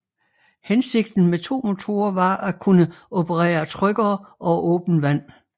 Hensigten med to motorer var at kunne operere tryggere over åbent vand